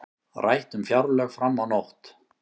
Rætt um fjárlög fram á nótt